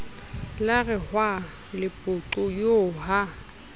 la rehwa lepoqo eo ha